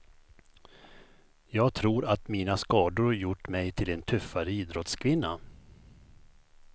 Jag tror att mina skador gjort mig till en tuffare idrottskvinna.